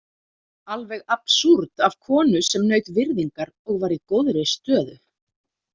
Alveg absúrd af konu sem naut virðingar og var í góðri stöðu.